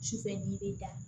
Sufɛ di bɛ da